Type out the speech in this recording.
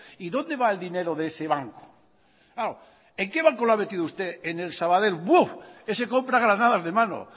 y dónde va el dinero de ese banco claro en qué banco lo ha metido usted en el sabadell buf ese compra granadas de mano